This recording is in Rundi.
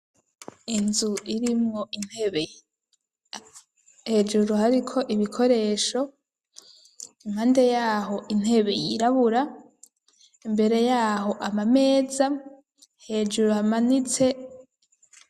Inzu irimwo intebe hejuru hariko ibikoresho impande yaho intebe yirabura imbere yaho ama meza hejuru amanitse.